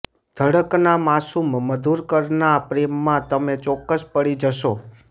ધડક ના માસૂમ મધુકરના પ્રેમમાં તમે ચોક્કસ પડી જશો